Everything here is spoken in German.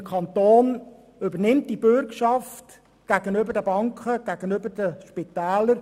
Der Kanton übernimmt diese Bürgschaft gegenüber den Banken und den Spitälern.